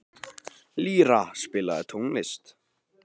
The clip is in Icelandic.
Lýra, spilaðu tónlist.